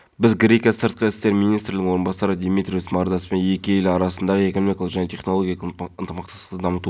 олардың барлығы қазақстан азаматтары бәрі белгілі салафизм діни бағытын ұстанғандар біздің азаматтар болғанмен бір-бірімен байланысты емес